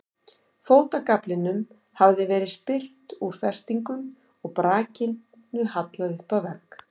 Fótagaflinum hafði verið spyrnt úr festingum og brakinu hallað upp að vegg.